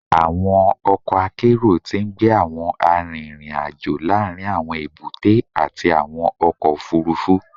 Awọn ọkọ akero ti ngbe awọn arinrin-ajo laarin awọn ebute ati awọn ọkọ ofurufu